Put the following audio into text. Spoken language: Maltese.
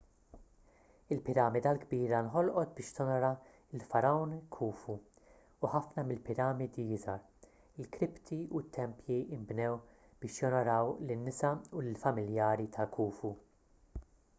il-piramida l-kbira nħolqot biex tonora lill-fargħun khufu u ħafna mill-piramidi iżgħar l-kripti u t-tempji nbnew biex jonoraw lin-nisa u lill-familjari ta' khufu